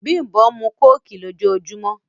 Bímbọ̀ n mú kòkì lọ̀jọ̀ọ̀jùmọ̀